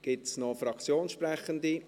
Gibt es weitere Fraktionssprechende?